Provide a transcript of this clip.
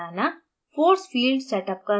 panel पर अणु बनाना